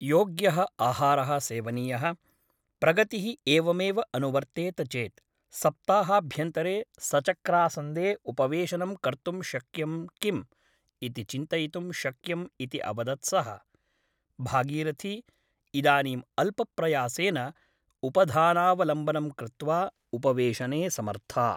योग्यः आहारः सेवनीयः । प्रगतिः एवमेव अनुवर्तेत चेत् सप्ताहाभ्यन्तरे सचक्रासन्दे उपवेशनं कर्तुं शक्यं किम् इति चिन्तयितुं शक्यम् इति अवदत् सः । भागीरथी इदानीम् अल्पप्रयासेन उपधानावलम्बनं कृत्वा उपवेशने समर्था ।